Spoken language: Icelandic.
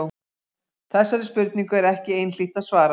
Þessari spurningu er ekki einhlítt að svara.